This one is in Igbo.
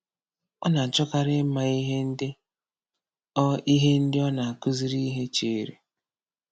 Ọ na-achọkarị ịma ihe ndị ọ ihe ndị ọ na-akụziri ihe chere.